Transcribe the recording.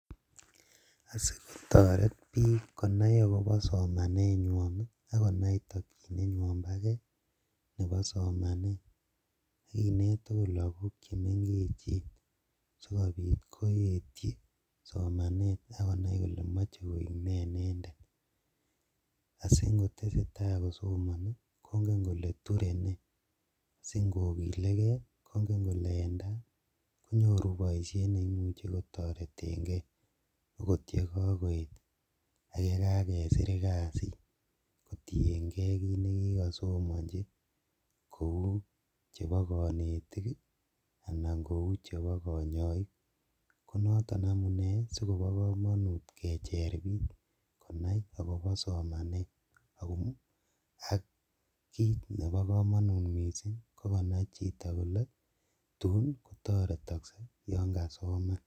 Asikotoret biik konai akobo somanywan akonai tokyinenywan boo kee nebo somanet akineet okot lokok chemeng'echen asikobit koetyi somanet akonai kolee moche koik nee inendet, asii ng'otesetaa kosomoni kong'en kolee turee nee, sing'okilekee kong'en kolee en taai konyoruu boishet neimuche kotoreteng'e akot yekokoyet ak yekakesir kasiit kotieng'e kiit nekikosomonchi kouu chebo konetik anan kochebo konyoik, ko noton amunee sikobokomonut kecheer biik konai akobo somanet ak kiit nebo komonut mising kokonai chito kolee tuun kotoretokse yoon kasoman.